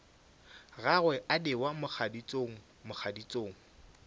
gagwe a newa mogaditšong mogaditšong